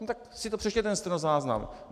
No tak si to přečtěte, ten stenozáznam.